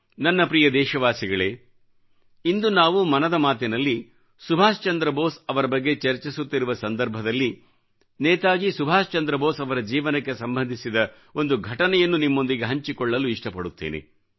ನನ್ನ ಪ್ರಿಯ ದೇಶವಾಸಿಗಳೇ ಇಂದು ನಾವು ಮನದ ಮಾತಿನಲ್ಲಿ ಸುಭಾಷ್ ಚಂದ್ರ ಬೋಸ್ ಅವರ ಬಗ್ಗೆ ಚರ್ಚಿಸುತ್ತಿರುವ ಸಂದರ್ಭದಲ್ಲಿ ನೇತಾಜಿ ಸುಭಾಷ್ ಚಂದ್ರ ಬೋಸ್ ಅವರ ಜೀವನಕ್ಕೆ ಸಂಬಂಧಿಸಿದ ಒಂದು ಘಟನೆಯನ್ನು ನಿಮ್ಮೊಂದಿಗೆ ಹಂಚಿಕೊಳ್ಳಲು ಇಷ್ಟಪಡುತ್ತಿದ್ದೇನೆ